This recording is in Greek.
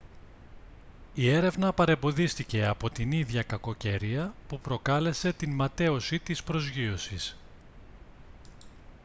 η έρευνα παρεμποδίστηκε από την ίδια κακοκαιρία που προκάλεσε την ματαίωση της προσγείωσης